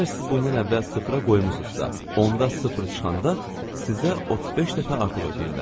Əgər siz bundan əvvəl sıfıra qoymusunuzsa, onda sıfır çıxanda sizə 35 dəfə artıq ödəyirlər.